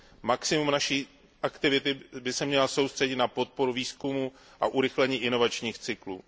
2 Maximum naší aktivity by se mělo soustředit na podporu výzkumu a urychlení inovačních cyklů.